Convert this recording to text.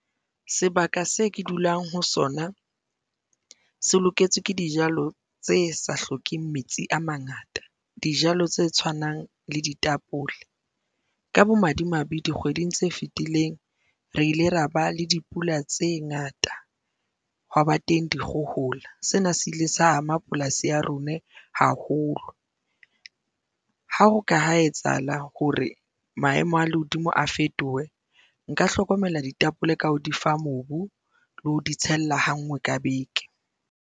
Sebaka se ke dulang ho sona se loketswe ke dijalo tse sa hlokeng metsi a mangata, dijalo tse tshwanang le ditapole. Ka bomadimabe, dikgweding tse fetileng re ile ra ba le dipula tse ngata hwaba teng dikgohola, sena se ile sa ama polasi ya rona haholo. Ha o ka ha etsahala hore maemo a lehodimo a fetohe nka hlokomela ditapole ka ho di fa mobu le ho di tshella ha ngwe ka beke.